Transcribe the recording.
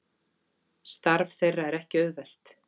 Starf þeirra er ekki auðvelt